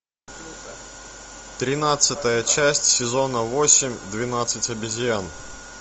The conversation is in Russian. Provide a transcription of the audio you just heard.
тринадцатая часть сезона восемь двенадцать обезьян